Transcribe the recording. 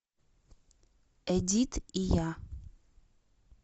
эдит и я